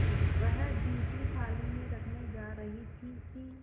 वह जूठी थाली में रखने जा रही थी कि